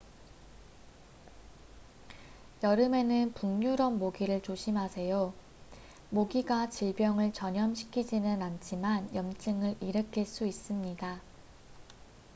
여름에는 북유럽 모기를 조심하세요 모기가 질병을 전염시키지는 않지만 염증을 일으킬 수 있습니다